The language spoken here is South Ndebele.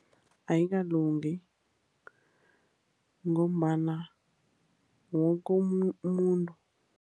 Ayikalungi ngombana woke umuntu.